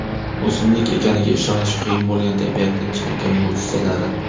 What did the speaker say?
O‘simlik ekaniga ishonish qiyin bo‘lgan tabiatning chinakam mo‘jizalari .